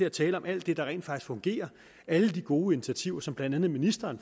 at tale om alt det der rent faktisk fungerer alle de gode initiativer som blandt andet ministeren